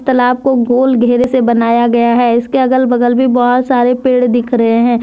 तालाब को गोल घेरे से बनाया गया है इसके अगल बगल भी बहोत सारे पेड़ दिख रहे हैं।